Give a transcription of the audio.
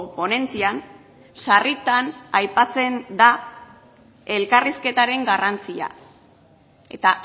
ponentzian sarritan aipatzen da elkarrizketaren garrantzia eta